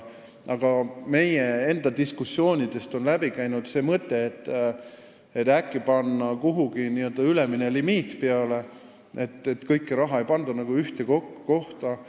Aga meie enda diskussioonidest on läbi käinud mõte panna äkki kuhugi ülemine limiit peale, et kõike raha ei pandaks ühte kohta.